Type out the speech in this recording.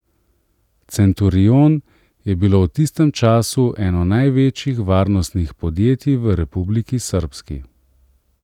Centurion je bilo v tistem času eno največjih varnostnih podjetij v Republiki Srbski.